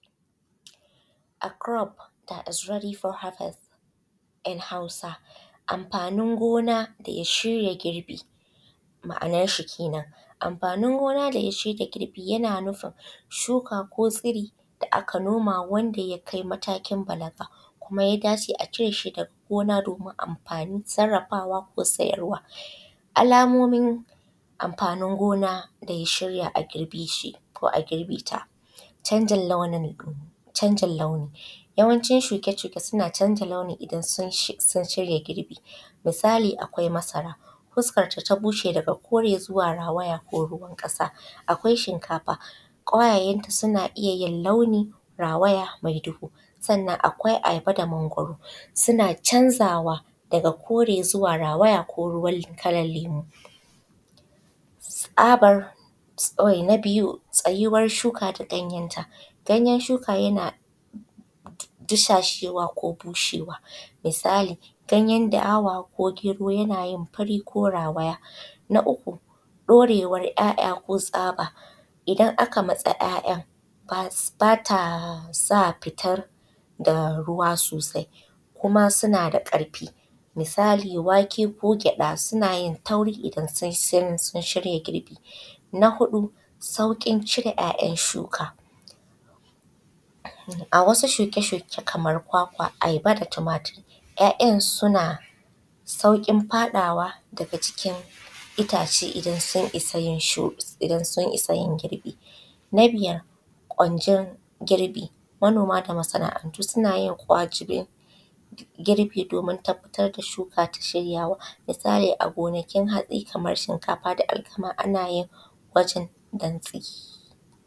A kurof nadis wathafun, In hausa amfanin shiya girbi. Ma’anar shi kenan amfanin gona da shirya girbi yana nufin shuka ko tsiri da aka noma wanda yakai matakin balaga kuma ya dace a cireshi daga gona domin amfani, sarrafawa da sayarwa. Alamomin amfanin gona daya shiya a girbe shi ko a girbe ta. Canjin launi yawancin shuke shuke suna canja launi idan sun shirya girbi misali akwai masara. Huskar data bushe daga kore zuwa rawa ko ruwan ƙasa akwai shinkafa kwayayen ta suna iyya yin launi rawaya mai duhu. Sannan akwai ayaba da mangwaro suna canzawa daga kore zuwa rawaya ko ruwan kalan lemu. Na biyu tsayuwar shuka da ganyen ta shuka yana dishashewa ko bushewa misali ganyen da’ama ko gero yanayin fari ko rawaya. Na uku ɗorewan ‘ya’’ya’ ko tsaba idan matsi ‘ya’’ya’ batasa fitar da ruwa sosai kuma suna da ƙarfi misali wake ko gyaɗa sunayin tauri idan sun shirya girbi. Na huɗu sauƙin cire ‘ya’’yan’ ya’’yan’ shuka a wasu shuke shuke kamar kwakwa ayaba da tumatur ‘ya’’yan’ sauƙin faɗowa daga jikin ittace idan sun isa yin girbi. Na biyar kwanjin girbi manoma da masa’antu sanayin kwajire girbi domin tabbatar da shuka ta shirya. Misali gonakin haɗe Kaman shinkafa da alkama anayin gwajin dantse.